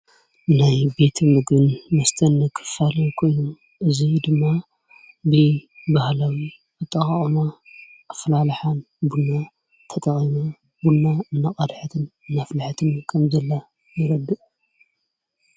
ናይ ቤት ምግን መስተኒ ኽፋል ኮዩም እዙይ ድማ ብ ባሃለዊ ኣጥቓዖማ ኣፍላልኃን ብና ተጠቐማ ቡና እነቐድሐትን ነፍልሐትን ከም ዘለ ይረድእ።